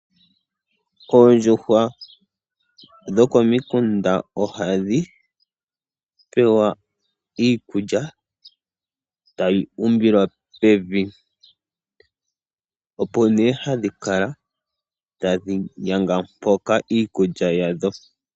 Oondjuhwa dhokomikunda ohadhi pewa iikulya tayi umbilwa pevi opo ne hadhi kala tadhi yanga mpoka iikulya yadho.